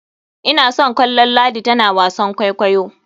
Ina son kallon ladi tana wasan kwaikwayo.